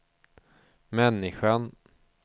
människan